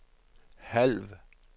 halv